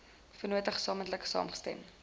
vennote gesamentlik saamgestem